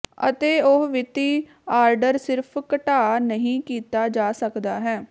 ਅਤੇ ਉਹ ਵਿੱਤੀ ਆਰਡਰ ਸਿਰਫ਼ ਘਟਾ ਨਹੀ ਕੀਤਾ ਜਾ ਸਕਦਾ ਹੈ